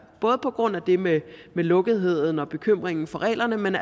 både på grund af det med lukketheden og bekymringen for reglerne men